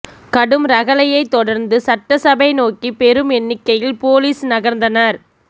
கடும் ரகளையைத் தொடர்ந்து சட்டசபை நோக்கி பெரும் எண்ணிக்கையில் போலீஸ் நகர்ந்தனர்